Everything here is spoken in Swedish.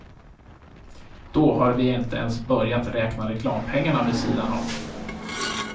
Då har vi inte ens börjat räkna reklampengarna vid sidan om.